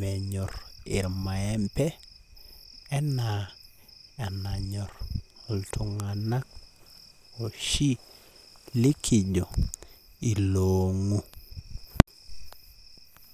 menyor irmaembe anaa enanyor iltunganak oshi likijo iloongu.